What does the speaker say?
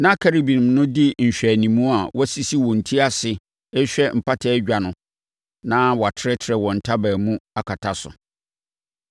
Na Kerubim no di nhwɛanimu a wɔasisi wɔn ti ase rehwɛ Mpata Dwa no na wɔatrɛtrɛ wɔn ntaban mu akata so.